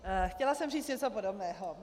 Chtěla jsem říct něco podobného.